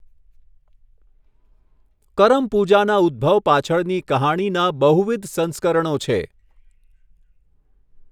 કરમ પૂજાના ઉદ્ભવ પાછળની કહાણીના બહુવિધ સંસ્કરણો છે.